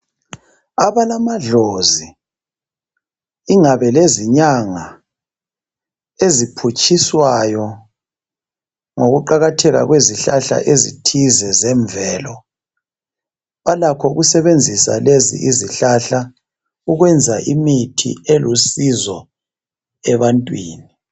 Abalamadlozi ingabe lezinyanga eziphutshiswayo ngokuqakatheka kwezihlahla ezithize zemvelo. Balakho ukusebenzisa lezi izihlahla ukwenza imithi elusizo ebantwini.